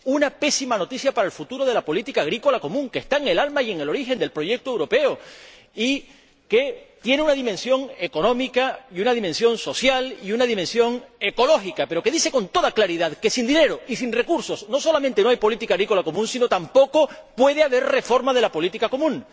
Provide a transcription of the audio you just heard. Una pésima noticia para el futuro de la política agrícola común, que está en el alma y en el origen del proyecto europeo y que tiene una dimensión económica y una dimensión social y una dimensión ecológica, pero que dice, con toda claridad, que sin dinero y sin recursos no solamente no hay política agrícola común, sino que tampoco puede haber reforma de la política común.